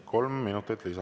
Kolm minutit lisa.